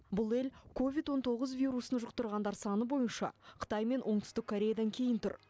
бұл ел ковид он тоғыз вирусын жұқтырғандар саны бойынша қытай мен оңтүстік кореядан кейін тұр